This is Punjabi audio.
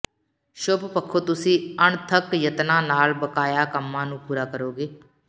ਸ਼ੁਭ ਪੱਖੋਂ ਤੁਸੀਂ ਅਣਥੱਕ ਯਤਨਾਂ ਨਾਲ ਬਕਾਇਆ ਕੰਮਾਂ ਨੂੰ ਪੂਰਾ ਕਰੋਗੇ